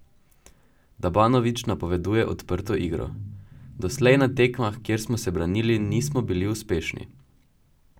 Dabanović napoveduje odprto igro: 'Doslej na tekmah, kjer smo se branili, nismo bili uspešni.